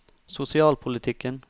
sosialpolitikken